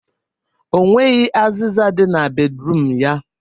O nweghi azịza dị na bedruum ya